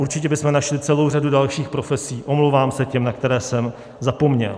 Určitě bychom našli celou řadu dalších profesí, omlouvám se těm, na které jsem zapomněl.